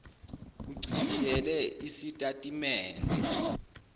uchibiyele isitati mende